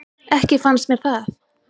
Ekki fannst mér það.